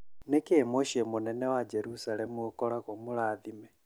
Nĩkĩĩ muciĩ mũnene wa Jerusalem ũkoragwo mũrathime?